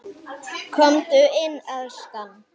Komdu inn, elskan!